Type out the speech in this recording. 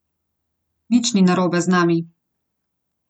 Nič ni narobe z nami.